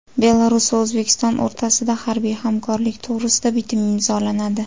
Belarus va O‘zbekiston o‘rtasida harbiy hamkorlik to‘g‘risida bitim imzolanadi.